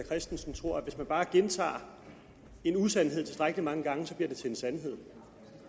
christensen tror at hvis han bare gentager en usandhed tilstrækkelig mange gange bliver det til en sandhed